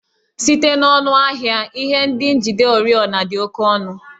Site n'ọnụ ahịa, ihe ndị njide oriọna dị oke ọnụ